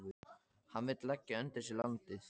Hann vill leggja undir sig landið.